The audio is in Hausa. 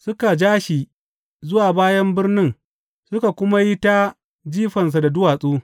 Suka ja shi zuwa bayan birnin suka kuma yi ta jifansa da duwatsu.